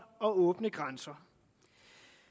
og åbne grænser